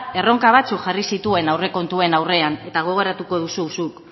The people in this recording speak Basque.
erronka batzuk jarri zituen aurrekontuen aurrean eta gogoratu duzu zuk